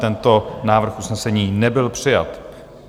Tento návrh usnesení nebyl přijat.